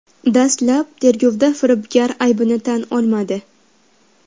Dastlab tergovda firibgar aybini tan olmadi.